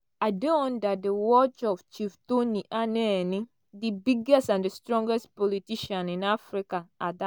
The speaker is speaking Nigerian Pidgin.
"i dey under di watch of chief tony anenih di biggest and strongest politician in africa at dat.